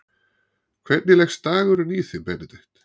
Hvernig leggst dagurinn í þig Benedikt?